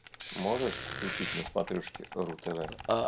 можешь включить на смотрешке ру тв